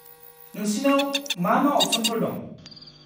नोंसिनाव मा-मा अपसनफोर दं?